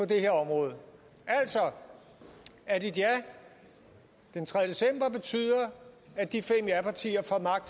det her område altså at et ja den tredje december betyder at de fem japartier får magt